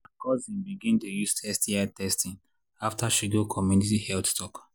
my cousin begin dey use sti testing after she go community health talk.